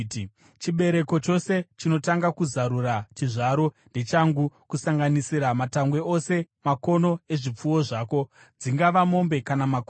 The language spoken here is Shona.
“Chibereko chose chinotanga kuzarura chizvaro ndechangu, kusanganisira matangwe ose makono ezvipfuwo zvako, dzingava mombe kana makwai.